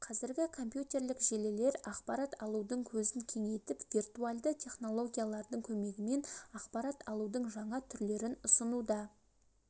қазіргі компьютерлік желілер ақпарат алудың көзін кеңейтіп виртуальды технологиялардың көмегімен ақпарат алудың жаңа түрлерін ұсынуда